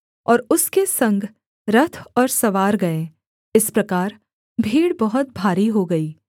और उसके संग रथ और सवार गए इस प्रकार भीड़ बहुत भारी हो गई